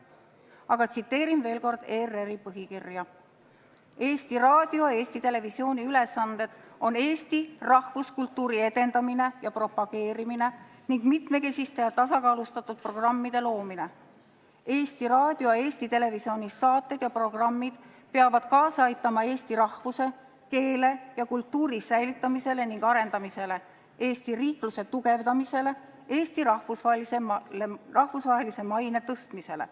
Aga tsiteerin veel kord ERR-i põhikirja, mille järgi Eesti Raadio ja Eesti Televisiooni ülesanded on Eesti rahvuskultuuri edendamine ja propageerimine ning mitmekesiste ja tasakaalustatud programmide loomine, samuti peavad Eesti Raadio ja Eesti Televisiooni saated ja programmid aitama kaasa Eesti rahvuse, keele ja kultuuri säilitamisele ja arendamisele, Eesti riikluse tugevdamisele ning Eesti rahvusvahelise maine tõstmisele.